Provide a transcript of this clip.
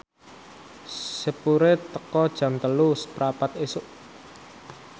sepure teka Jam telu seprapat isuk